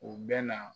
U bɛ na